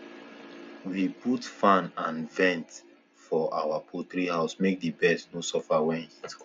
we put fan and vent for our poultry house make the birds no suffer when heat come